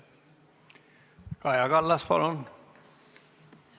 Kaja Kallas, palun!